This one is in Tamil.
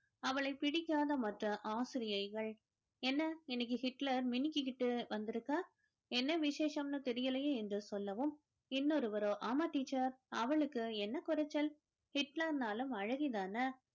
அவளை பிடிக்காத மற்ற ஆசிரியைகள் என்ன இன்னைக்கு Hitler மினுக்கிக்கிட்டு வந்திருக்க என்ன விசேஷம்ன்னு தெரியலயே என்று சொல்லவும் இன்னொருவரோ ஆமா teacher அவளுக்கு என்ன குறைச்சல் Hitler ன்னாலும் அழகிதானே